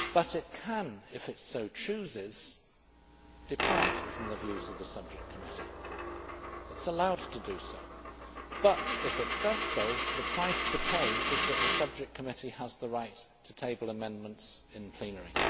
It can, if it so chooses, depart from the views of the subject committee it is allowed to do so but if it does, the price to pay is that the subject committee has the right to table amendments in plenary.